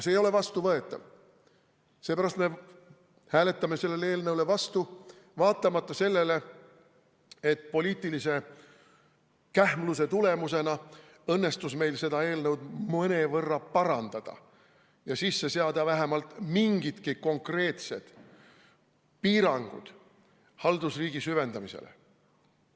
See ei ole vastuvõetav ja seepärast me hääletamegi selle eelnõu vastu, hoolimata sellest, et poliitilise kähmluse tulemusena õnnestus meil seda eelnõu mõnevõrra parandada ja sisse seada vähemalt mingidki konkreetsed piirangud haldusriigi süvendamisele.